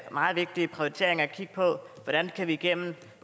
meget vigtige prioritering at kigge på hvordan vi gennem